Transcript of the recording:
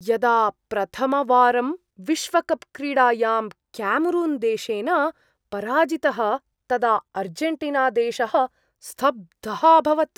यदा प्रथमवारं विश्वकप् क्रीडायां क्यामरून्देशेन पराजितः तदा आर्जेण्टीनादेशः स्तब्धः अभवत्।